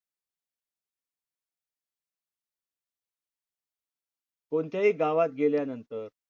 कोणत्याही गावात गेल्यानंतर